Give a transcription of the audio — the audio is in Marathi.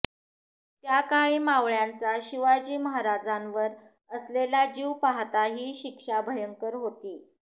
त्याकाळी मावळ्यांचा शिवाजीमहाराजांवर असलेला जीव पाहता ही शिक्षा भयंकर होती